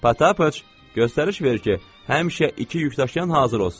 Patapoç, göstəriş ver ki, həmişə iki yükdaşıyan hazır olsun.